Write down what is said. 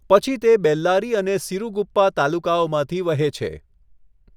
પછી તે બેલ્લારી અને સિરુગુપ્પા તાલુકાઓમાંથી વહે છે.